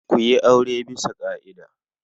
Ku yi aure bisa ƙa'ida.